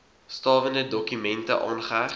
stawende dokumente aangeheg